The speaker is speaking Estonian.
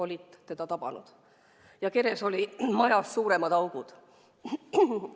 Laeva keres olid majast suuremad augud.